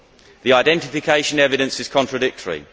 The identification evidence is contradictory.